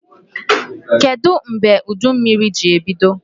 Kedụ mgbe udummiri ji ebido?